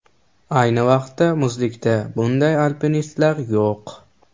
Ayni vaqtda muzlikda bunday alpinistlar yo‘q.